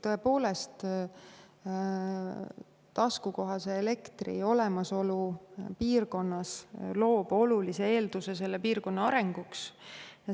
Tõepoolest, taskukohase elektri olemasolu mingis piirkonnas loob olulise eelduse selle piirkonna arenguks.